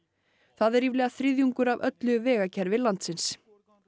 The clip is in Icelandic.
það er ríflega þriðjungur af öllu vegakerfi landsins